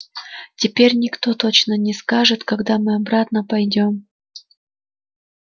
теперь никто точно не скажет когда мы обратно пойдём